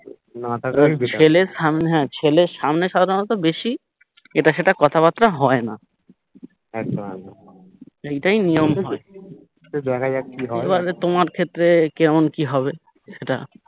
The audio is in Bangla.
ছেলের সামনে হ্যা ছেলের সামনে সাধারণত বেশি এটা সেটা কথাবার্তা হয়না এইটাই নিয়ম হয় এবারে তোমার ক্ষেত্রে কেমন কি হবে সেটা